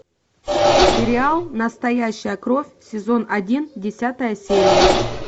сериал настоящая кровь сезон один десятая серия